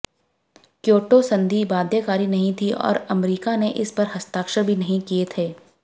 Kyoto संधि बाध्यकारी नहीं थी और अमरीका ने इस पर हस्ताक्षर भी नहीं किए थे